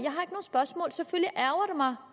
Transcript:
har